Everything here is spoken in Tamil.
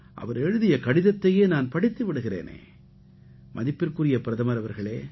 அவர் எழுதிய கடிதத்தையே நான் படித்து விடுகிறேனே மதிப்பிற்குரிய பிரதமர் அவர்களே